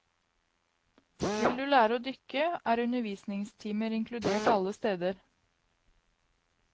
Vil du lære å dykke er undervisningstimer inkludert alle steder.